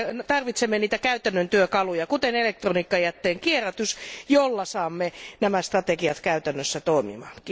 Tarvitsemme niitä käytännön työkaluja, kuten elektroniikkajätteen kierrätys, joilla saamme nämä strategiat käytännössä toimimaan.